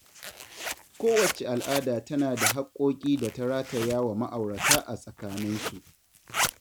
Kowacce al'ada tana da haƙƙoƙi da ta rataya wa ma'aurata a tsakaninsu